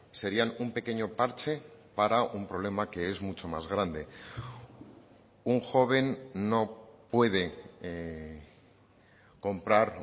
serían un pequeño parche para un problema que es mucho más grande un joven no puede comprar